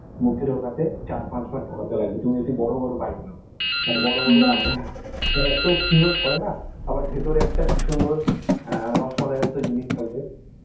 মুখে ঢুকাতে চার পাঁচ বার ঢুকাতে লাগবে তুমি যদি বড় বড় bite নাও মানে , মানে এত সুন্দর করে না, আবার ভেতরে একটা কি সুন্দর অ্যাঁ রস মালাই এর মত জিনিস থাকবে